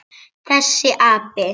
Þessi api!